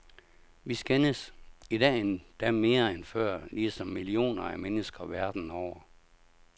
Vi skændes, idag endda mere end før, ligesom millioner af mennesker verden over.